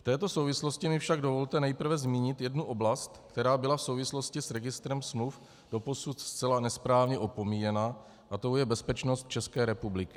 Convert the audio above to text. V této souvislosti mi však dovolte nejprve zmínit jednu oblast, která byla v souvislosti s registrem smluv doposud zcela nesprávně opomíjená, a tou je bezpečnost České republiky.